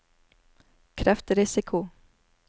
kreftrisiko